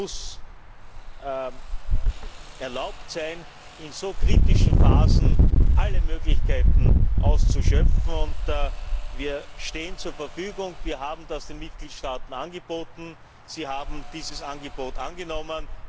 Es muss erlaubt sein, in so kritischen Phasen alle Möglichkeiten auszuschöpfen. Wir stehen zur Verfügung. Wir haben das den Mitgliedstaaten angeboten und sie haben dieses Angebot angenommen.